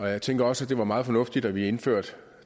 jeg tænker også det var meget fornuftigt at vi indførte